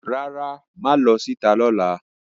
Rara, maa lo si ita lola.